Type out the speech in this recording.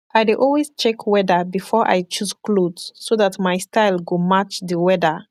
i dey always check weather bifor i choose kloth so dat mai style go match di weather